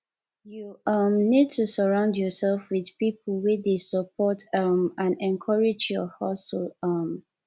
you um need to surround yourself with people wey dey support um and encourage your hustle um